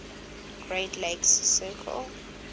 great lakes circle